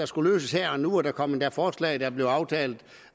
skulle løses her og nu der kom endda forslag der blev aftalt